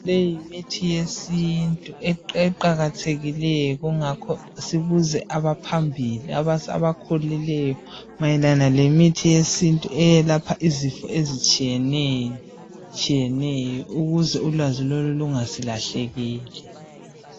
Leyi yimithi yesintu eqakathekileyo kungakho sibuze abaphambili abakhulileyo mayelana lemithi yesintu eyelapha izifo ezitshiyeneyo ukuze ulwazi lolu lungasilahlekeli.